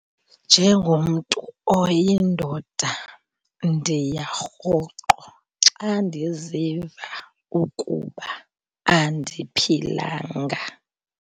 Njengomntu oyindoda ndiya rhoqo xa ndiziva ukuba andiphilanga.